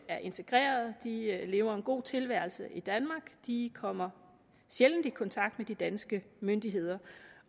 er integreret de lever en god tilværelse i danmark de kommer sjældent i kontakt med de danske myndigheder